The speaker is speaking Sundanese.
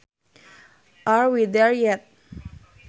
Are we there yet